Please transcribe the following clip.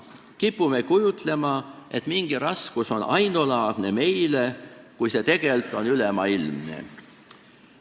Kipume kujutlema, et meie mingi raskus on ainulaadne, kui see tegelikult on ülemaailmne.